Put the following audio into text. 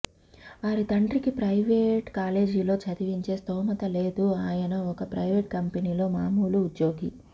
వారి తండ్రికి ప్రవైట్ కాలేజీలో చదివించే స్తొమత లేదు అయన ఒక ప్రైవేట్ కంపెనీ లో మామూలు ఉద్యోగి